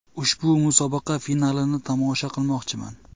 Ushbu musobaqa finalini tomosha qilmoqchiman.